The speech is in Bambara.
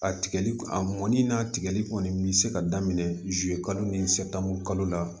A tigɛli a mɔnni n'a tigɛli kɔni mi se ka daminɛ zi kalo ni sɛ la